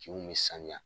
Kinw bɛ sanuya